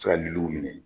Se ka liliw minɛ